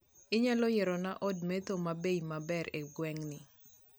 Inyalo yierona od metho mabei maber e gweng'ni